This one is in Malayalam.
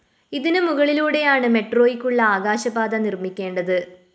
ഇതിന് മുകളിലൂടെയാണ് മെട്രോയ്ക്കുള്ള ആകാശ പാത നിര്‍മ്മിക്കേണ്ടത്